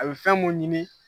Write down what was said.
A bi fɛn mun ɲini